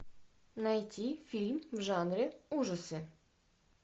найти фильм в жанре ужасы